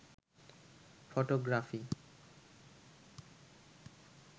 photography